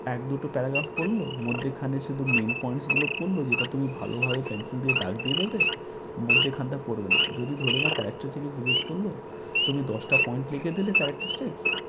এক দুটো paragraph পড়ল, মধ্যেখানে শুধু main points গুলো পড়লো যেটা তুমি ভালোভাবে pencil দিয়ে দাগ দিয়ে দেবে, মধ্যেখানটা পড়বে না। যদি ধরে রাখ একটা থেকে জিজ্ঞেস করল তুমি দশটা point লিখে দিলে characteristics,